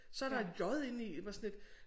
Så er der j inde i hvor jeg sådan lidt